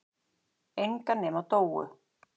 Enga nema Dóu.